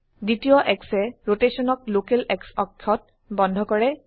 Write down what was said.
দ্বিতীয় Xএ ৰোটেশনক লোকেল X অক্ষত বন্ধ কৰে